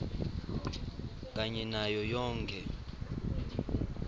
kanye nayo yonkhe